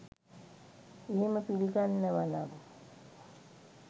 එහෙම පිළිගන්නවනම්